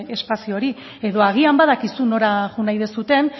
espazio hori edo agian badakizu nora joan nahi duzuen